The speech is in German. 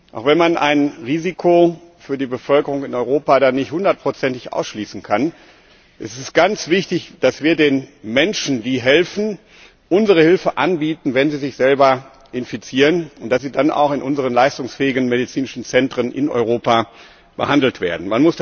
Auch wenn man ein Risiko für die Bevölkerung in Europa dann nicht 100 ig ausschließen kann, finde ich es ganz wichtig, dass wir den Menschen, die helfen, unsere Hilfe anbieten, wenn sie sich selber infizieren, und dass sie dann auch in unseren leistungsfähigen medizinischen Zentren in Europa behandelt werden.